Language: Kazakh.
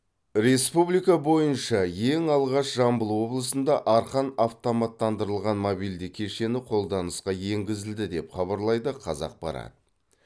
республика бойынша ең алғаш жамбыл облысында арқан автоматтандырылған мобильді кешені қолданысқа енгізілді деп хабарлайды қазақпарат